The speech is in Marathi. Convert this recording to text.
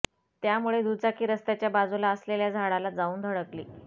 त्यामुळे दुचाकी रस्त्याच्या बाजुला असलेल्या झाडाला जाऊन धडकली